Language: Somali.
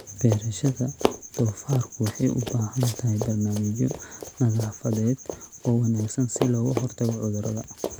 Beerashada doofaarku waxay u baahan tahay barnaamijyo nadaafadeed oo wanaagsan si looga hortago cudurrada.